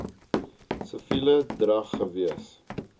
siviele drag gewees